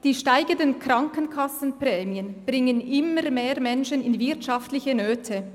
«Die steigenden Krankenkassenprämien bringen immer mehr Menschen in wirtschaftliche Nöte.